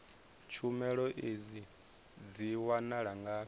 tshumelo idzi dzi wanala ngafhi